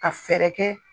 Ka fɛɛrɛ kɛ